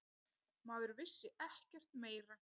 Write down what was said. Maður vissi ekkert meira.